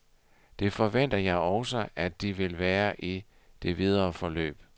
Det forventer jeg også, at de vil være i det videre forløb.